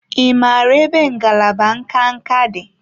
Ị maara ebe ngalaba nka nka dị?